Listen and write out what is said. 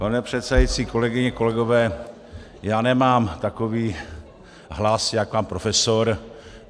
Pane předsedající, kolegyně, kolegové, já nemám takový hlas jako pan profesor.